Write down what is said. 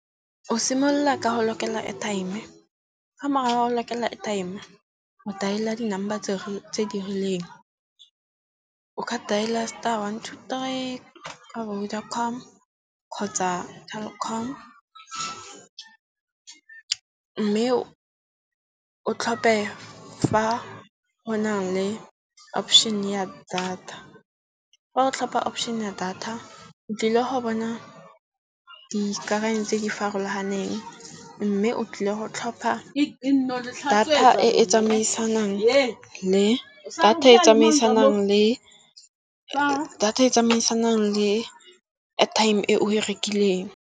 O simolola ka go lokela airtime ga mora ha go lokela airtime, o dial-a di number tse di rileng. O ka dail-a star, one, two, three ka Vodacom kgotsa Telkom. Mme o tlhophe fa go na le option ya data. Fa o tlhopha option ya data, o tlile go bona dikakanyo tse di farologaneng. Mme o tlile go tlhopha data e e tsamaisanang le airtime e o e rekileng.